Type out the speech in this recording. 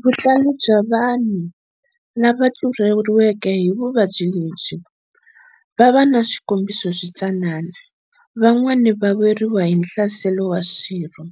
Vutalo bya vanhu lava tluleriweke hi vuvabyi lebyi vava na swikombiso swi tsanana, van'wana va weriwa hi nhlaselo wa swirho